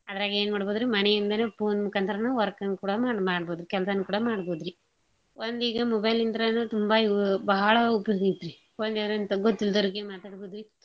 ಅದ್ರಾಗ್ ಏನ್ ಮಾಡ್ಬೋದ್ರಿ ಮನೆ ಇಂದಾನೇ phone ಮುಖಾಂತ್ರಾನ work ನೂ ಕೂಡಾ ನಾವ್ ಮಾಡ್ಬೋದು ಕೆಲ್ಸಾ ನೂ ಕೂಡಾ ಮಾಡ್ಬೋದ್ರಿ. ಒಂದೀಗ mobile ಇಂತ್ರಾನ ತುಂಬಾ ಇವ ಬಾಳ ಆಗೇತ್ರೀ phone ಯಾರ್ ಅಂತ ಗೊತ್ತಿಲ್ದೋರ್ ಗಿ ಮಾತಾಡ್ಬೋದ್ರಿ.